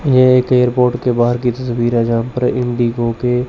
ये एक एयरपोर्ट के बाहर की तस्वीर जहां पर इंडिगो के--